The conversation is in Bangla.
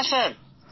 হ্যাঁ স্যার